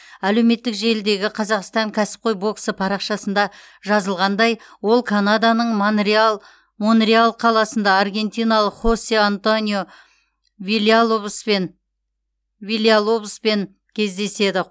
әлеуметтік желідегі қазақстан кәсіпқой боксы парақшасында жазылғандай ол канаданың монреаль қаласында аргентиналық хосе антонио вильялобоспен кездеседі